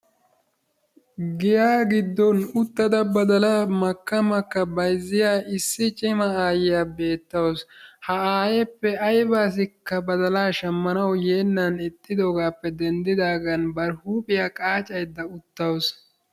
Giyaa giddon uttada badalaa makka makka baysiyaa issi cima ayiyaa bettawus. Ha ayeeppe ayba asikka badalaa shammanawu yeennan ixxidogaappe dendidaagan huphphiyaa qaacaydda uttawus.